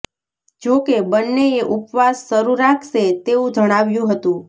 જો કે બંનેએ ઉપવાસ શરૂ રાખશે તેવુ જણાવ્યુ હતુ